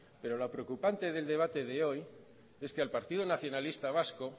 pero lo preocupante del debate de hoy es que al partido nacionalista vasco